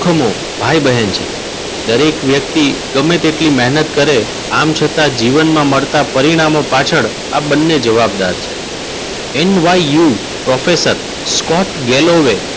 ધમો ભાઈ બહેન છે. દરેક વ્યક્તિ ગમે તેટલી મહેનત કરે આમ છતાં જીવનમાં મળતા પરિણામો પાછળ આ બંને જવાબદાર છે. NYU professor Scott ગેલવે,